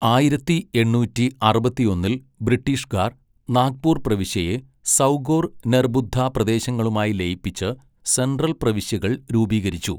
ആയിരത്തി എണ്ണൂറ്റി അറുപത്തിയൊന്നിൽ ബ്രിട്ടീഷുകാർ നാഗ്പൂർ പ്രവിശ്യയെ, സൗഗോർ നെർബുദ്ദ പ്രദേശങ്ങളുമായി ലയിപ്പിച്ച് സെൻട്രൽ പ്രവിശ്യകൾ രൂപീകരിച്ചു.